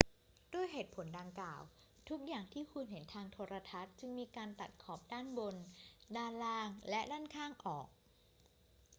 ด้วยเหตุผลดังกล่าว ทุกอย่างที่คุณเห็นทางโทรทัศน์จึงมีการตัดขอบด้านบน ด้านล่าง และด้านข้างออก